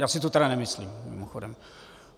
Já si to tedy nemyslím, mimochodem.